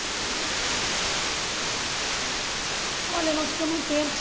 sozinhos e depois, como como vocês saíram de lá? Olha, nós ficamos um tempo